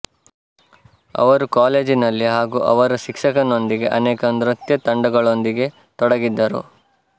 ಅವರು ಕಾಲೇಜಿನಲ್ಲಿ ಹಾಗೂ ಅವರ ಶಿಕ್ಷಕನೊಂದಿಗೆ ಅನೇಕ ನೃತ್ಯ ತಂಡಗಳೊಂದಿಗೆ ತೊಡಗಿದ್ದರು